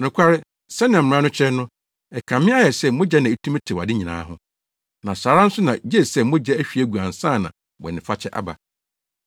Nokware, sɛnea mmara no kyerɛ no, ɛkame ayɛ sɛ mogya na etumi tew ade nyinaa ho, na saa ara nso na gye sɛ mogya ahwie agu ansa na bɔnefakyɛ aba.